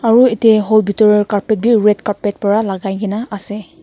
Aro yate hall bitor carpet bi red carpet para lagai kena ase.